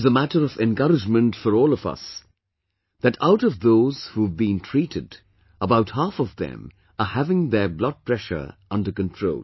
It is a matter of encouragement for all of us that out of those who have been treated, about half of them are having their blood pressure under control